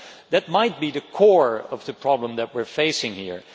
That might be the core of the problem that we are facing here.